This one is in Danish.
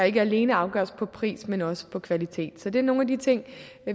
ikke alene afgøres på pris men også på kvalitet så det er nogle af de ting